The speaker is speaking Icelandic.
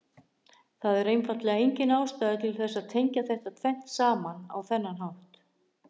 Það er einfaldlega engin ástæða til þess að tengja þetta tvennt saman á þennan hátt.